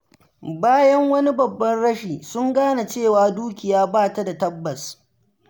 Bayan wani babban rashi, sun gane cewa dukiya ba ta da tabbas.